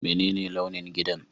Menene launin gidan?